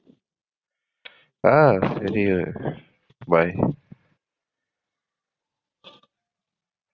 ஆஹ் சரி bye.